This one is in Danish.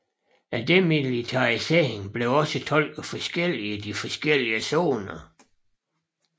Demilitariseringen blev også tolket forskelligt i de forskellige zoner